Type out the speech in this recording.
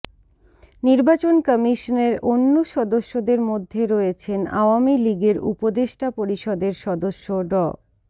নির্বাচন কমিশনের অন্য সদস্যদের মধ্যে রয়েছেন আওয়ামী লীগের উপদেষ্টা পরিষদের সদস্য ড